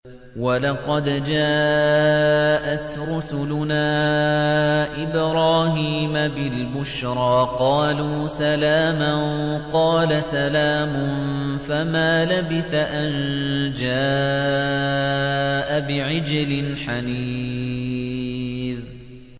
وَلَقَدْ جَاءَتْ رُسُلُنَا إِبْرَاهِيمَ بِالْبُشْرَىٰ قَالُوا سَلَامًا ۖ قَالَ سَلَامٌ ۖ فَمَا لَبِثَ أَن جَاءَ بِعِجْلٍ حَنِيذٍ